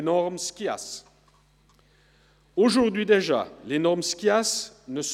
Wir fahren am Nachmittag mit der Detailberatung weiter.